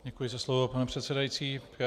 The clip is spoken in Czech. Děkuji za slovo, pane předsedající.